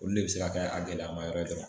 Olu de bɛ se k'a kɛ a gɛlɛya ma yɔrɔ ye dɔrɔn.